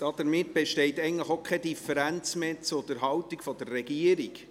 Damit besteht eigentlich auch keine Differenz mehr zur Haltung der Regierung.